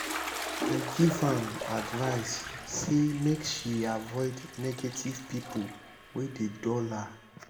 i give am advice sey make she avoid negative pipo wey dey dull her.